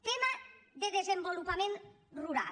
tema de desenvolupament rural